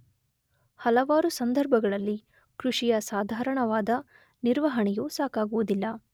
ಹಲವಾರು ಸಂದರ್ಭಗಳಲ್ಲಿ ಕೃಷಿಯ ಸಾಧಾರಣವಾದ ನಿರ್ವಹಣೆಯು ಸಾಕಾಗುವುದಿಲ್ಲ.